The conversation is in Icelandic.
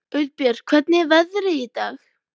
Auðbjört, hvernig er veðrið í dag?